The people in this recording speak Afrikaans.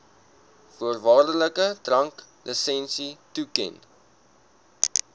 voorwaardelike dranklisensie toeken